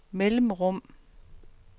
mellemrum